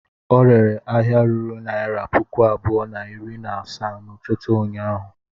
Ọ rere ahịa ruru naịra puku abụọ na iri na asaa n'ụtụtụ ụnyaahụ?